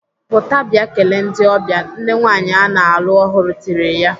"Pụta bịa kelee ndị ọbịa!" Nne nwaanyị ana alụ ọhụrụ tirile ya.